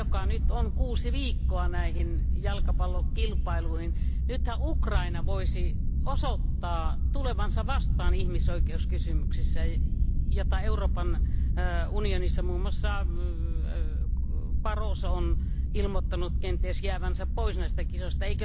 nyt on vielä kuusi viikkoa aikaa näihin jalkapallokisoihin. Nythän Ukraina voisi osoittaa tulevansa vastaan ihmisoikeuskysymyksissä. Euroopan unionissa muun muassa Barroso on ilmoittanut kenties jäävänsä pois näistä kisoista.